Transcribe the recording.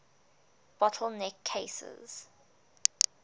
bottle neck cases